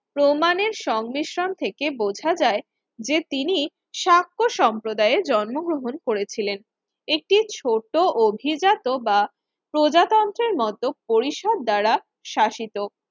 প্রমাণের সংমিশ্রণ থেকে বোঝা যায় যে তিনি শাক্য সম্প্রদায়ের জন্মগ্রহণ করেছিলেন। একটি ছোট অভিজাত বা প্রজাতন্ত্রের মত পরিসর দ্বারা শাসিত